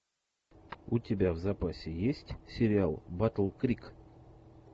у тебя в запасе есть сериал батл крик